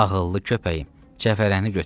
Ağıllı köpəyim, cəfərənini götür.